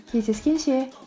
кездескенше